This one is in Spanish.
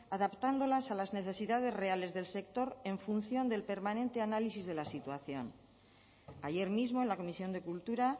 adaptándolas a las necesidades reales del sector en función del permanente análisis de la situación ayer mismo en la comisión de cultura